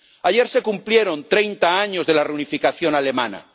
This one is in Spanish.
Ayer se cumplieron 30 años de la reunificación alemana.